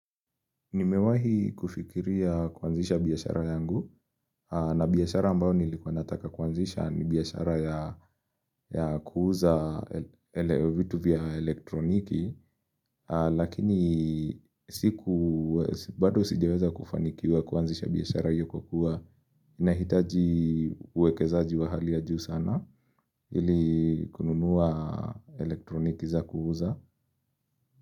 Nimewahi kufikiria kuanzisha biashara yangu na biashara ambao nilikuwa nataka kuanzisha ni biashara ya kuuza elewe vitu vya elektroniki lakini siku bado sijeweza kufanikiwa kuazisha biashara hiyo kwakua inahitaji uwekezaji wa hali ya juu sana ili kununua elektroniki za kuuza.